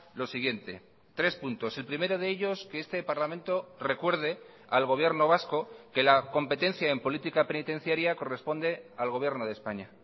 lo siguiente tres puntos el primero de ellos que este parlamento recuerde al gobierno vasco que la competencia en política penitenciaria corresponde al gobierno de españa